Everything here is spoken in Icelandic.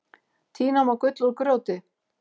Tína má gull úr grjóti.